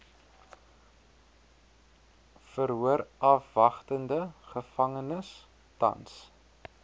verhoorafwagtende gevangenes tans